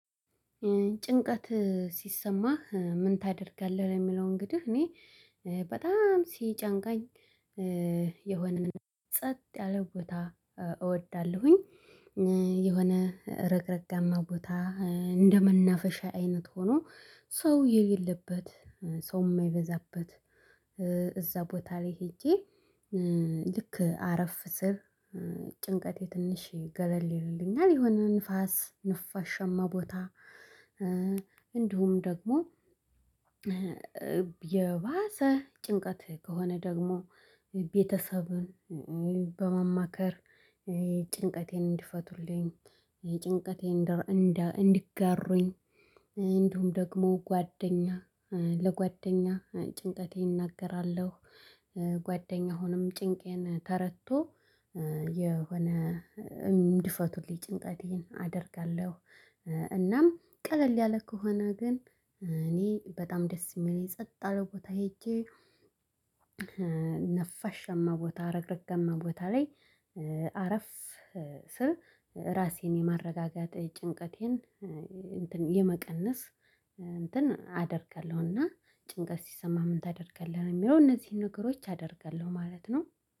ጭንቀት ሲሰማህ ምን ታደርጋለህ? ለሚለው እንግዲህ እኔ በጣም ሲጨንቀኝ የሆነነን ጸጥ ያለ ቦታ እወዳለሁኝ የሆነ እረግረጋማ ቦታ እንደመናፈሻ አይነት ሆኖ ሰው የሌለበት ሰው የማይበዛበት እዛ ቦታ ላይ ሄጄ ልክ አረፍ ስል ጭንቀቴ ትንሽ ገለል ይልልኛል የሆነ ንፋስ ነፋሻማ ቦታ። እንዲሁም ደግሞ የባሰ ጭንቀት ከሆነ ደግሞ ቤተሰብን በማማከር ጭንቀቴን እንዲፈቱልኝ እንደር እንደ እንዲጋሩኝ እንዲሁም ደግሞ ጓደኛ ለጓደኛ ጭንቀቴ እናገራለሁ። ጓደኛ አሁንም ጭንቄን ተረድቶ የሆነ እንዲፈቱልኝ ጭንቀቴን አደርጋለሁ። እናም ቀለል ያለ ከሆነ ግን እኔ በጣም ደስ የሚለኝ ጸጥ አለው ቦታ ሄጄ ነፋሻማ ቦታ ረግረገማ ቦታ ላይ አረፍ ስር ራሴን የማረጋጋት ጭንቀቴን የመቀነስ እንትን አደርጋለሁና። ጭንቀት ሲሰማ ምን ታደርጋለህ የሚለው? እነዚህን ነገሮች አደርጋለሁ ማለት ነው